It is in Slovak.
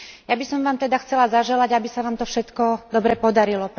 Ja by som vám teda chcela zaželať, aby sa vám to všetko dobre podarilo.